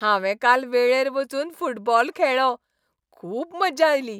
हांवें काल वेळेर वचून फुटबॉल खेळ्ळो, खुब्ब मजा आयली.